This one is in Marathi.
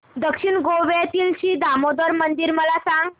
दक्षिण गोव्यातील श्री दामोदर मंदिर मला सांग